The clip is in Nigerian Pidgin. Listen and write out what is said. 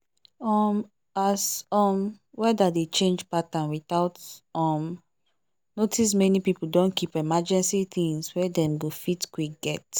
um as um weather dey change pattern without um notice many people don keep emergency things wey dem go fit quick get.